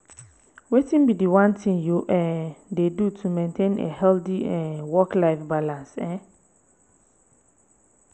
wetin be di one thing you um dey do to maintain a healthy um work-life balance? um